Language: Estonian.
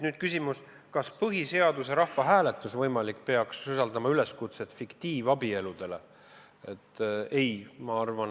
Kas võimalik põhiseaduse rahvahääletus peaks sisaldama üleskutset fiktiivabielusid sõlmida?